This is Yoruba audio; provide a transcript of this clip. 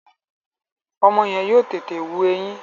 Ọmọ yẹn yóò tètè wù ẹyin